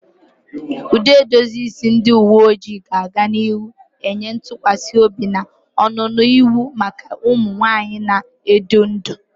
Ụdị edozi isi ndị uwe ojii ga-aga n'ihu na-enye ntụkwasị obi na ọnụnọ iwu maka ụmụ nwanyị na-edu ndú.